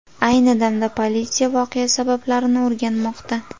Ayni damda politsiya voqea sabablarini o‘rganmoqda.